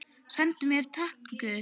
Sendu mér tákn guð.